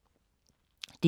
DR K